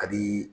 A bi